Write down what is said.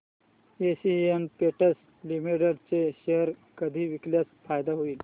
Asian Paints Limited चे share कधी विकल्यास फायदा होईल